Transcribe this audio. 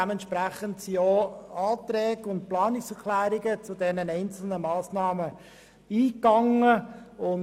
Dementsprechend wurden denn auch Anträge und Planungserklärungen zu den einzelnen Massnahmen eingereicht.